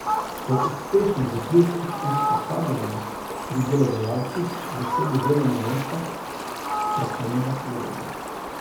Po uspešnem zaključku usposabljanja pri delodajalcih zasede delovno mesto strokovnega sodelavca.